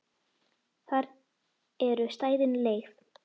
Þar eru stæðin leigð.